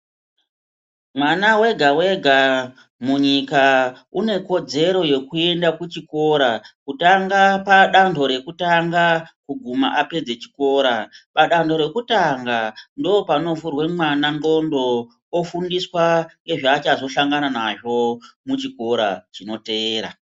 Mwana wega wega munyika une kodzero yekuenda kuchikora kutanga padanto rekutanga kuguma apedze chikora padanho rekutanga ndopanovhurwe mwana ndxondo ofundiswa ngezvaachazosangana nazvo muchikoro chinoteera.